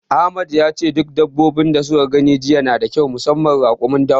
Ahmad yace duk dabbobi da suka gani jiya nada kyau musamman raƙumin dawa.